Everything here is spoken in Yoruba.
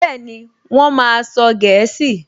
Bẹ́ẹ̀ni, Wọ́n máa sọ gẹ̀ẹ́sì